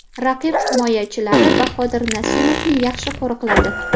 Raqib himoyachilari Bahodir Nasimovni yaxshi qo‘riqladi.